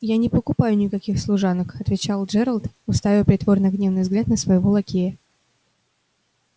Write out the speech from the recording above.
я не покупают никаких служанок отвечал джералд уставя притворно гневный взгляд на своего лакея